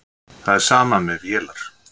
Það er sama með vélar.